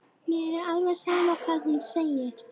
Mér er alveg sama hvað hún segir.